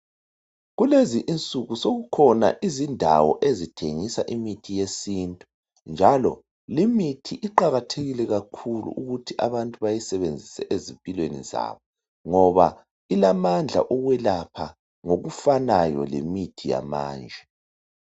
Kulezinsuku sekukhona indawo okuthengisa imithi yesintu , njalo limithi iqakathekile kakhulu ukuthi abantu bayisebenzise ezimpilweni zabo, ngoba ilamandla yokwelapha njenge mithi yamanje.